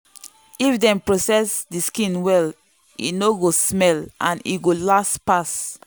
if dem process the skin well e no go smell and e go last pass.